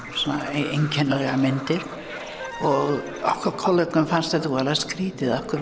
einkennilegar myndir og okkar kollegum fannst þetta voða skrýtið af hverju